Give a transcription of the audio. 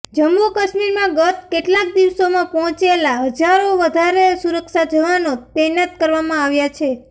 જમ્મુ કાશ્મીરમાં ગત કેટલાક દિવસોમાં પહોંચેલા હજારો વધારે સુરક્ષા જવાનો તૈનાત કરવામાં આવ્યા છે